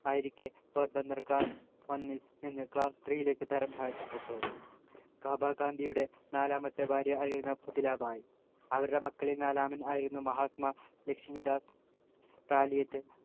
ആയിരിക്കെ Porbandar class one ൽ നിന്നും class three ലേക്ക് തരാം താഴ്ത്തപ്പെട്ടു കാബ ഗാന്ധിയുടെ നാലാമത്തെ ഭാര്യ ആയിരുന്നു പുത്‌ലി ഭായ് അവരുടെ മക്കളിൽ നാലാമനായിരുന്നു മഹാത്മ ലക്ഷ്മി ദാസ് റാലിയത്ത്